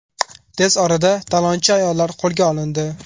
Tez orada talonchi ayollar qo‘lga olindi.